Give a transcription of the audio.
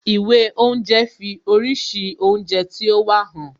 Ìwé oúnje fi oríṣi oúnjẹ tí ó wà hàn